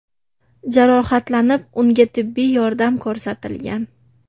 jarohatlanib, unga tibbiy yordam ko‘rsatilgan.